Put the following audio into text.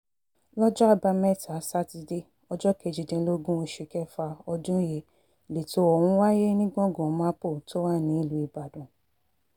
lọ́jọ́ àbámẹ́ta sátidé ọjọ́ kejìdínlógún oṣù kẹfà ọdún yìí lẹ̀tọ́ ọ̀hún wáyé ní gbọ̀ngàn mapo tó wà nílùú ibodàn